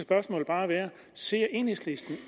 bare være ser enhedslisten